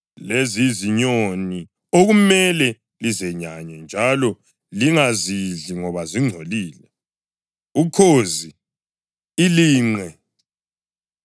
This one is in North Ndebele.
Lezi yizinyoni okumele lizenyanye njalo lingazidli ngoba zingcolile: ukhozi, ilinqe,